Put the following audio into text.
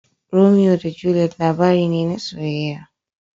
Romeo da Juliet labari ne na soyayya.